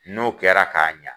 N'o kɛra k'a ɲan